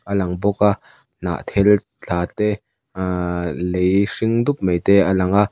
a lang bawk a hnah thel tla te ahh lei hring dup mai te a lang a.